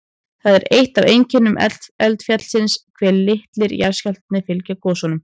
Það er eitt af einkennum eldfjallsins hve litlir jarðskjálftar fylgja gosunum.